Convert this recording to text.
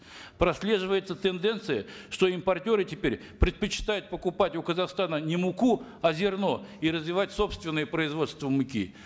прослеживается тенденция что импортеры теперь предпочитают покупать у казахстана не муку а зерно и развивать собственное производство муки